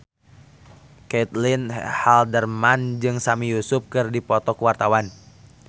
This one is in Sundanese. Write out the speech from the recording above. Caitlin Halderman jeung Sami Yusuf keur dipoto ku wartawan